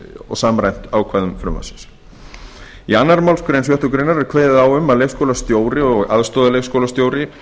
og samræmt í ákvæðum frumvarpsins í annarri málsgrein sjöttu grein er kveðið á um að leikskólastjóri aðstoðarleikskólastjóri